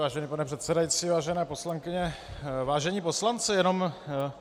Vážený pane předsedající, vážené poslankyně, vážení poslanci, jenom -